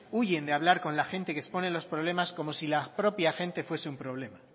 huyen de hablar con la gente que expone los problemas como si la propia gente fuese un problema